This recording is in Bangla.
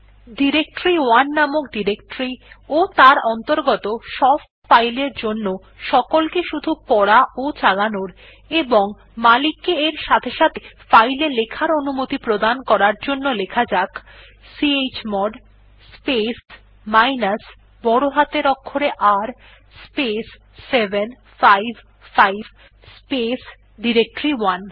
ডিরেক্টরি1 নামক ডিরেকটরি ও তার অন্তর্গত সব ফাইল এর জন্য সকলকে শুধু পড়া ও চালানোর এবং মালিক কে এর সাথে সাথে ফাইল এ লেখার অনুমতি প্রদান করতে লেখা যাক চমোড স্পেস মাইনাস বড় হাতের অক্ষরে R স্পেস 755 স্পেস ডিরেক্টরি1